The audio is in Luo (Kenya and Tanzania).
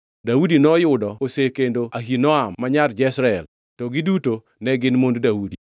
Daudi noyudo osekendo Ahinoam ma nyar Jezreel, to giduto ne gin mond Daudi.